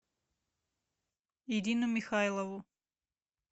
ирину михайлову